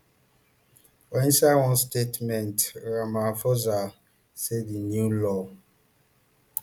for inside one statement ramaphosa say di new law